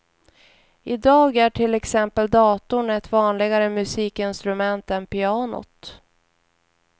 I dag är till exempel datorn ett vanligare musikinstrument än pianot.